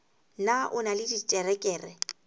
na o na le diterekere